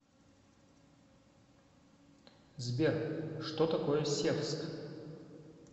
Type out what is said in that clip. сбер что такое севск